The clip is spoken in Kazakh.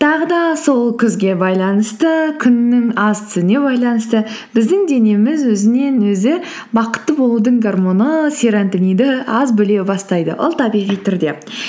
тағы да сол күзге байланысты күннің аз түсуіне байланысты біздің денеміз өзінен өзі бақытты болудың гормоны серотонинді аз бөле бастайды ол табиғи түрде